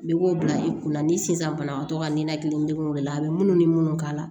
Bɛ bɔ bila i kun na ni sisan banabagatɔ ka ninakilidengunw de la a bɛ munnu ni minnu k'a la